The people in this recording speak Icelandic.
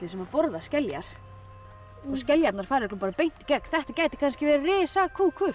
sem borða skeljar og skeljarnar fara beint í gegn þetta gæti verið